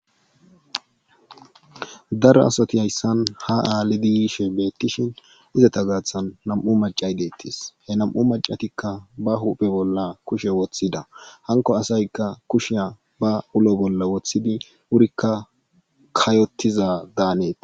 Daro asati hayssan ha aalidi yishin beetishin izata gaahthan nam'u maccay beetees he nam'u maccatikka ba huuphe bolla kushe woththida hankko asaykka ba kushiya ulo bolla wothidi wurikka kayotiza daanees.